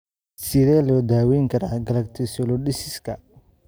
Sidee loo daweyn karaa galactasialidosiska?